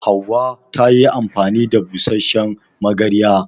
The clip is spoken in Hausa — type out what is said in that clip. Hauwa ta yi amfani da busasshen magarya.